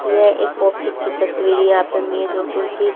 यह एक आफिस की तस्वीर यहाँ पे मेज और कुर्सी--